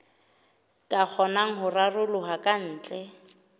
ka kgonang ho raroloha kantle